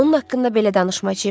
Onun haqqında belə danışma Cim.